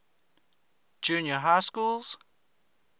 junior high schools